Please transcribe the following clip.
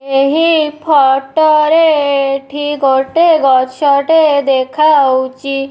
ଏହି ଫଟୋ ରେ ଏଠି ଗୋଟେ ଗଛଟେ ଦେଖା ହୋଉଛି।